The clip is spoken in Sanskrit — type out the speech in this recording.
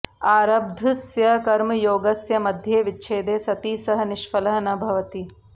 आरब्धस्य कर्मयोगस्य मध्ये विच्छेदे सति सः निष्फलः न भवति